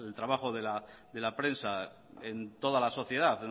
trabajo de la prensa en toda la sociedad